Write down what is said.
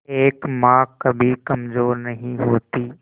एक मां कभी कमजोर नहीं होती